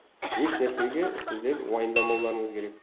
еш нәрсеге сіздер уайымдамауларыңыз керек